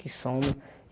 Que somos.